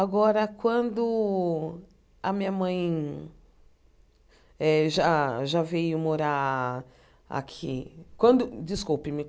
Agora, quando a minha mãe eh já já veio morar aqui quando... Desculpe-me.